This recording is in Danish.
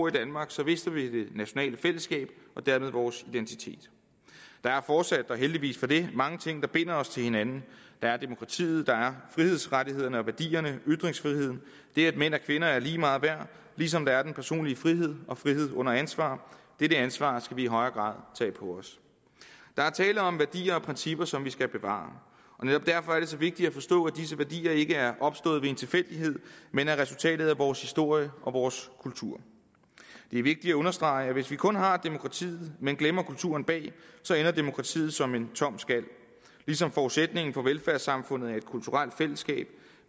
i danmark så mister vi det nationale fællesskab og dermed vores identitet der er fortsat og heldigvis for det mange ting der binder os til hinanden der er demokratiet der er frihedsrettighederne og værdierne ytringsfriheden det at mænd og kvinder er lige meget værd ligesom der er den personlige frihed og frihed under ansvar dette ansvar skal vi i højere grad tage på os der er tale om værdier og principper som vi skal bevare og netop derfor er det så vigtigt at forstå at disse værdier ikke er opstået ved en tilfældighed men er resultatet af vores historie og vores kultur det er vigtigt at understrege at hvis vi kun har demokratiet men glemmer kulturen bag så ender demokratiet som en tom skal ligesom forudsætningen for velfærdssamfundet er et kulturelt fællesskab